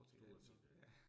Stort set alt